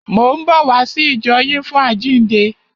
Mò ń bọ̀ wá sí ìjọ yín fún àjíǹde.